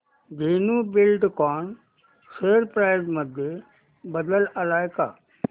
Dhenu Buildcon share price मध्ये बदल आलाय का